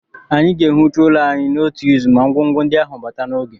Anyị ga-ewucha ụlọ ahụ n'otu izu ma ngwongwo ndị ahụ bata n'oge